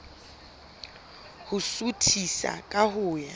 ho suthisa ka ho ya